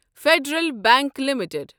federal bank limited